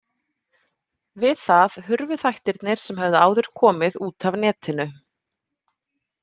Við það hurfu þættirnir sem höfðu áður komið út af netinu.